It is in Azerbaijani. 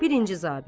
Birinci zabit.